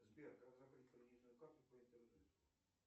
сбер как закрыть кредитную карту по интернету